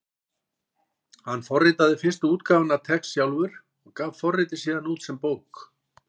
Hann forritaði fyrstu útgáfuna af TeX sjálfur og gaf forritið síðan út sem bók.